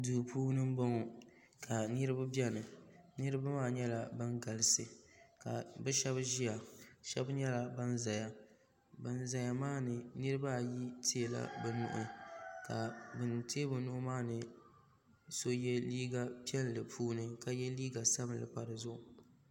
do puuni n bɔŋɔ ka niriba bɛn niriba maa nyɛla bɛn galisi ka be shɛbi ʒɛya shɛbi nyɛla ban zaya ban zaya maani niribaayi nyɛla ban tɛɛ be nuuhi ka ban tɛɛ be nuu maa ni puuni yino yɛ liga piɛli gbani ka yɛ liga sabinli pa di zuɣ'